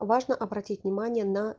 важно обратить внимание на